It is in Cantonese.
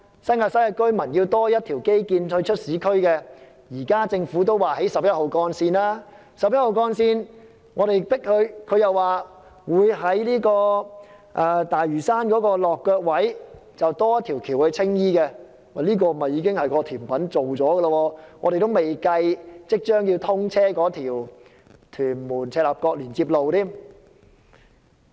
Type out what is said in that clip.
新界西居民想要多一條通道直達市區，現時政府已表示會興建十一號幹線，我們施加壓力後，政府又說會在十一號幹線的大嶼山落腳位多建一條橋往青衣，這已經是規劃好的一道甜品，而且還未計即將通車的屯門赤鱲角連接路。